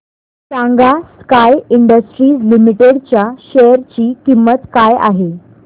सांगा Sky Industries Limited च्या share ची किंमत काय आहे